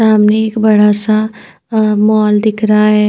सामने एक बड़ा सा अं मॉल दिख रहा है।